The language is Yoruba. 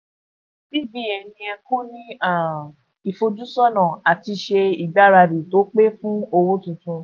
cbn yẹ kó ní um ìfojúsọ́nà àti ṣe ìgbáradì tó pé fún owó tuntun.